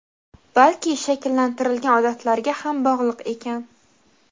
balki shakllantirilgan odatlarga ham bog‘liq ekan.